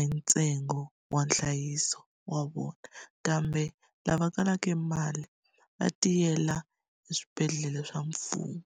entsengo wa nhlayiso wa vona. Kambe lava kalaka emali va tiyela eswibedhlele swa mfumo.